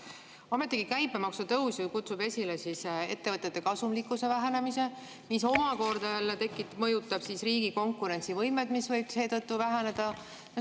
" Ometigi käibemaksu tõstmine ju kutsub esile ettevõtete kasumlikkuse vähenemise, mis omakorda jälle mõjutab riigi konkurentsivõimet, mis võib seetõttu väheneda.